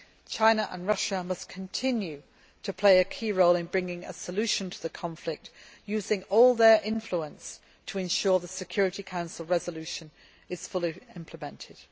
China and Russia must continue to play a key role in bringing a solution to the conflict, using all their influence to ensure the Security Council resolution is fully implemented.